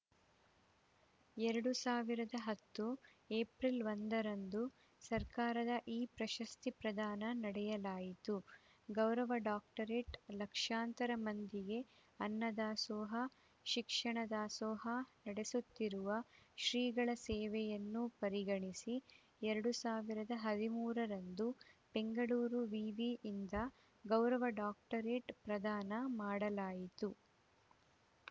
ಎರಡು ಸಾವಿರದ ಹತ್ತು ಎಪ್ರಿಲ್ ಒಂದರಂದು ಸರ್ಕಾರದಿಂದ ಈ ಪ್ರಶಸ್ತಿ ಪ್ರದಾನ ಮಾಡಲಾಯಿತು ಗೌರವ ಡಾಕ್ಟರೆಟ್‌ ಲಕ್ಷಾಂತರ ಮಂದಿಗೆ ಅನ್ನದಾಸೋಹ ಶಿಕ್ಷಣ ದಾಸೋಹ ನಡೆಸುತ್ತಿರುವ ಶ್ರೀಗಳ ಸೇವೆಯನ್ನು ಪರಿಗಣಿಸಿ ಎರಡು ಸಾವಿರದ ಹದಿಮೂರರಂದು ಬೆಂಗಳೂರು ವಿವಿಯಿಂದ ಗೌರವ ಡಾಕ್ಟರೇಟ್‌ ಪ್ರದಾನ ಮಾಡಲಾಯಿತು